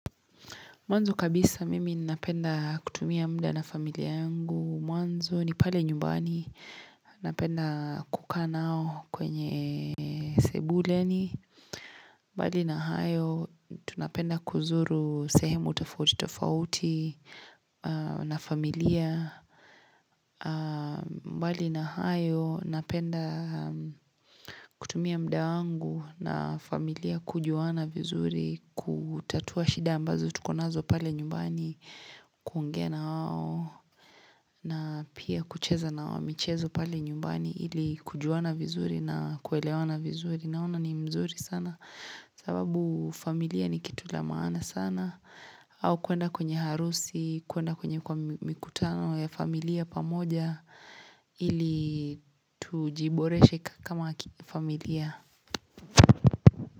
Mwanzo kabisa mimi napenda kutumia mda na familia yangu. Mwanzo ni pale nyumbani napenda kukaa nao kwenye sebuleni. Mbali na hayo tunapenda kuzuru sehemu tofauti tofauti na familia. Mbali na hayo napenda kutumia muda wangu na familia kujuana vizuri kutatua shida ambazo tukonazo pale nyumbani. Kuongea nawao na pia kucheza nao michezo pale nyumbani ili kujuana vizuri na kuelewana vizuri. Naona ni mzuri sana sababu familia ni kitu la maana sana. Au kuenda kwenye harusi, kuenda kwenye kwa mikutano ya familia pamoja ili tujiboreshe kama familia.